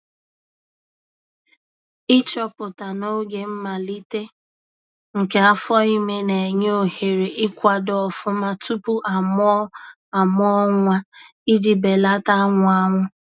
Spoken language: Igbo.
Ichoọpụta n’oge mmalite nke afọime na- enye ohere ikwado ọfụma tụpụ a mụọ a mụọ nwa, iji belata anwụ anwụ